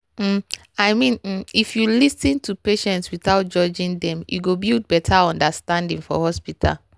um i mean if um you lis ten to patients without judging dem e go build better understanding for hospital.